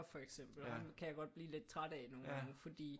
For eksempel ham kan jeg godt blive lidt træt af nogle gange fordi